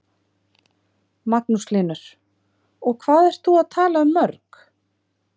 Magnús Hlynur: Og hvað ert þú að tala um mörg?